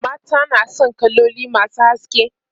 mata na San kaloli masu haske